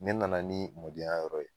Ne nana ni mɔdenya yɔrɔ ye